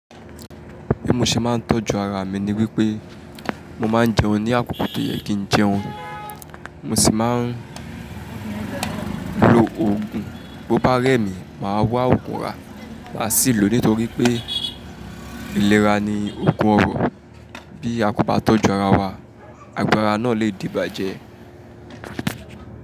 Bí mo ṣe máa ń tọ́jú ara mi ni wípé mo máa ń jẹun ní àkókò tó yẹ kí ń jẹun, mo sì máa ń lo òògùn. Bo bá rẹ̀ mí, màá wá òògùn rà, màá sì lò ó nítorí pé ìlera ni òògùn ọrọ̀. Bí a kò bá tọ́jú ara wa, àgbara náà lè di ìbàjẹ́.